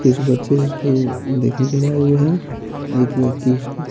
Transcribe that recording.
कुछ बच्चे उसको देखने के लिए आए हुए हैं एक व्यक्ति उसको--